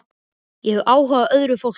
Ég hef áhuga á öðru fólki.